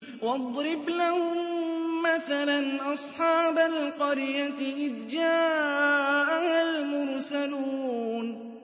وَاضْرِبْ لَهُم مَّثَلًا أَصْحَابَ الْقَرْيَةِ إِذْ جَاءَهَا الْمُرْسَلُونَ